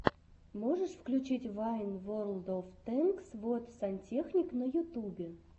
можешь включить вайн ворлд оф тэнкс вот сантехник на ютубе